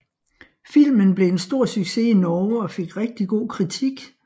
Filmen blev en stor success i Norge og fik rigtig god kritik